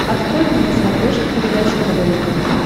открой мне на смотрешке передачу квн тв